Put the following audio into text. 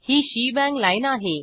he shebang lineआहे